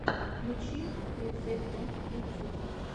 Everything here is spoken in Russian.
включи рецепты ютюб